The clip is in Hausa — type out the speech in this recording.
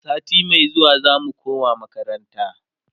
sati Mai zuwa zamu koma makaranta